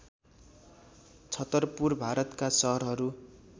छतरपुर भारतका सहरहरू